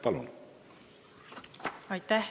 Palun!